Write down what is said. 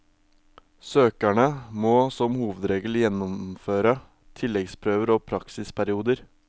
Søkerne må som hovedregel gjennomføre tilleggsprøver og praksisperioder.